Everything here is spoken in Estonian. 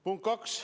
Punkt üks.